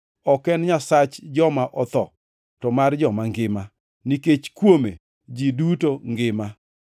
Ok en Nyasach joma otho, to mar joma ngima, nikech kuome ji duto ngima.”